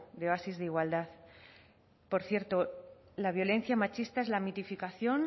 de bases de igualdad por cierto la violencia machista es la mitificación